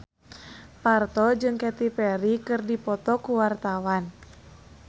Parto jeung Katy Perry keur dipoto ku wartawan